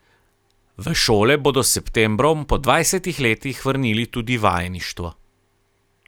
V šole bodo s septembrom po dvajsetih letih vrnili tudi vajeništvo.